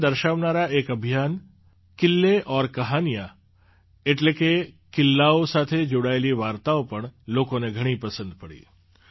તેને દર્શાવનારા એક અભિયાન કિલ્લે ઔર કહાનિયાં એટલે કે કિલ્લાઓ સાથે જોડાયેલી વાર્તાઓ પણ લોકોને ઘણી પસંદ પડી